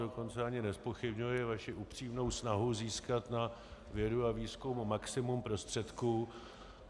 Dokonce ani nezpochybňuji vaši upřímnou snahu získat na vědu a výzkum maximum prostředků.